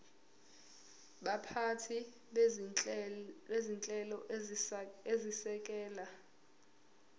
baphathi bezinhlelo ezisekela